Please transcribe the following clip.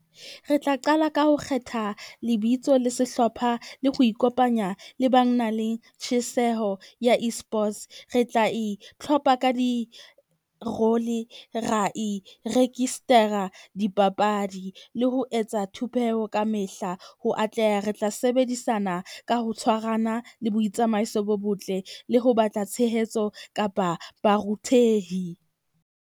Re tla qala ka ho kgetha lebitso le sehlopha le ho ikopanya le ba nang le tjheseho ya Esports. Re tla itlhopha ka di . Ra iregister-a dipapadi le ho etsa thupeho ka mehla. Ho atleha re tla sebedisana ka ho tshwarana le boitsamaiso bo botle le ho batla tshehetso kapa baruthehi.